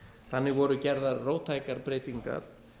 þannig voru gerðar róttækar breytingar